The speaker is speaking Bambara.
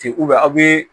Ten aw bɛ